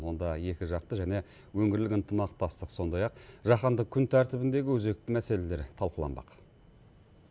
онда екіжақты және өңірлік ынтымақтастық сондай ақ жаһандық күн тәртібіндегі өзекті мәселелер талқыланбақ